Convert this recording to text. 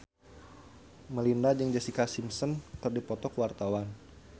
Melinda jeung Jessica Simpson keur dipoto ku wartawan